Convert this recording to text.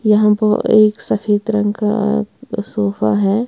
यहाँ पर एक सफेद रंग का सोफा है।